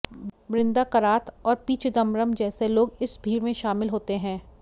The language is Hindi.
बृंदा करात और पी चिदंबरम जैसे लोग इस भीड़ में शामिल होते हैं